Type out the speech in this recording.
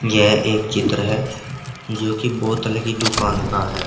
यह एक चित्र है जो की बोतल की दुकान का है।